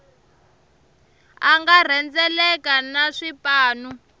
a nga rhendzeleka na swipanu